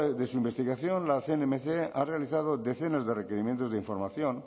de su investigación la cnmc ha realizado decenas de requerimientos de información